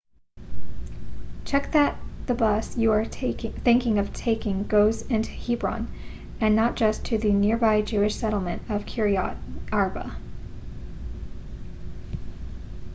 check that the bus you are thinking of taking goes into hebron and not just to the nearby jewish settlement of kiryat arba